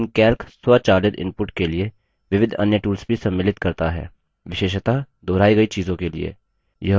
लेकिन calc स्वचालित input के लिए विविध अन्य tools भी सम्मिलित करता है विशेषतः दोहराई गई चीजों के लिए